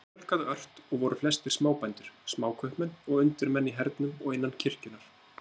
Þeim fjölgaði ört og voru flestir smábændur, smákaupmenn og undirmenn í hernum og innan kirkjunnar.